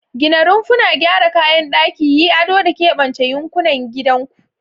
Gina rumfuna, gyara kayan daki, yi ado, da keɓance yankin gidanku.